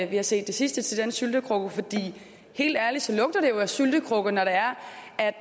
vi har set det sidste til den syltekrukke for helt ærligt lugter det jo af syltekrukke når